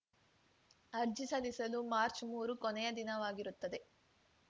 ಅರ್ಜಿ ಸಲ್ಲಿಸಲು ಮಾರ್ಚ್ಮೂರು ಕೊನೆಯ ದಿನವಾಗಿರುತ್ತದೆ